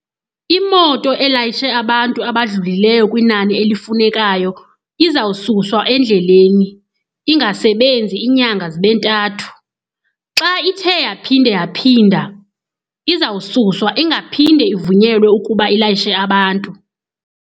Imoto elayishe abantu abadlulileyo kwinani elifunekayo izawususwa endleleni ingasebenzi iinyanga zibe ntathu. Xa ithe yaphinde yaphinda, izawususwa ingaphinde ivunyelwe ukuba ilayishe abantu.